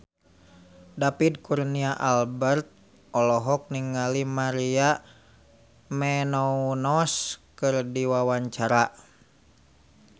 David Kurnia Albert olohok ningali Maria Menounos keur diwawancara